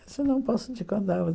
Mas eu não posso te contar.